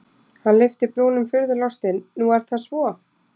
Hann lyfti brúnum furðulostinn:-Nú er það svo?